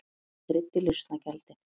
Ég greiddi lausnargjaldið.